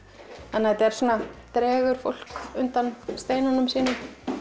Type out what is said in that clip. þetta svona dregur fólk undan steinunum sínum